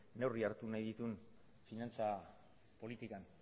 neurri hartu nahi ditun finantza politikan